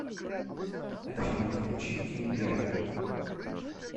афина включи тим берг